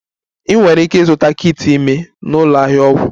Ị nwere ike ịzụta kit ime na ụlọ ahịa ọgwụ